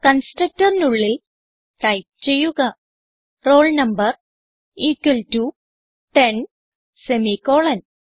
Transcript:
constructorനുള്ളിൽ type ചെയ്യുക roll number equal to ten semicolon